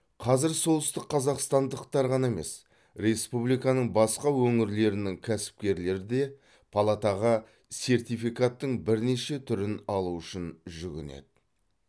қазір солтүстікқазақстандықтар ғана емес республиканың басқа өңірлерінің кәсіпкерлері де палатаға сертификаттың бірнеше түрін алу үшін жүгінеді